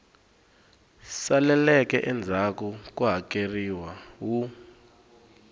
saleleke endzhaku ko hakeleriwa wu